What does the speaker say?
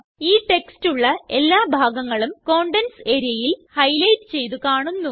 ഈ ടെക്സ്റ്റ് ഉള്ള എല്ലാ ഭാഗങ്ങളും കണ്ടെന്റ്സ് areaയിൽ ഹൈലൈറ്റ് ചെയ്ത് കാണുന്നു